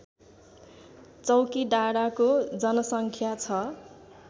चौकीडाँडाको जनसङ्ख्या छ